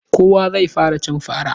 Jibi za mu cire girgizo a silin.